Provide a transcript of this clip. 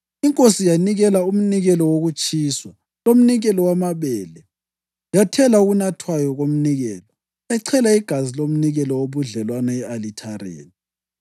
Inkosi yanikela umnikelo wokutshiswa lomnikelo wamabele, yathela okunathwayo komnikelo, yachela igazi lomnikelo wobudlelwano e-alithareni.